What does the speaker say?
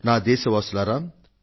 నా దేశ వాసులారా